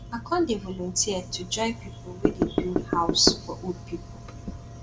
i don dey volunteer to join pipu wey dey build house for old pipu